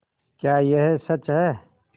क्या यह सच है